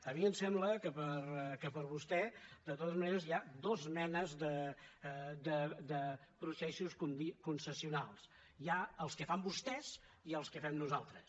a mi em sembla que per vostè de totes maneres hi ha dues menes de processos concessionals hi ha els que fan vostès i els que fem nosaltres